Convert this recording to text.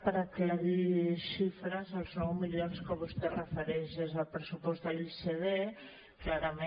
per aclarir xifres els nou milions als quals vostè es refereix és el pressupost de l’icd clarament